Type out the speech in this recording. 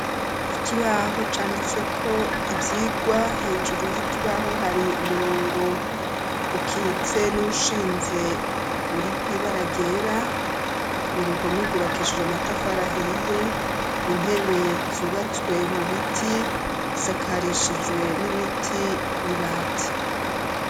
Ikibaho canditswe ko ivyigwa hejuru y'ikibaho hari umurongo ukitse n'ushinze uri kwiba aragera uruhome gubakishije amatafarahiye intebe zubatswe mu biti isakarishijwe n'ibiti n'i bati.